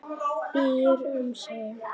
Býr um sig.